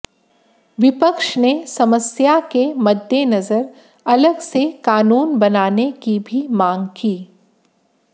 विपक्ष ने समस्या के मद्देनजर अलग से कानून बनाने की भी मांग की